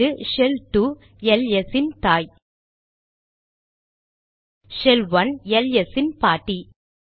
இங்கு shell 2 LS இன் தாய் ஷெல் 1 எல்எஸ் இன் பாட்டி